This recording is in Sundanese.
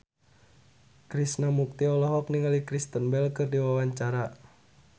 Krishna Mukti olohok ningali Kristen Bell keur diwawancara